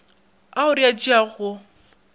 ao re a tšeago go